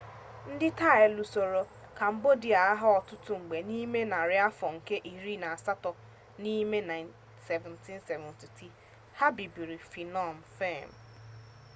ndị taị lusoro kambodịa agha ọtụtụ mgbe n'ime narị afọ nke iri na asatọ ma n'ime 1772 ha bibiri phnom phen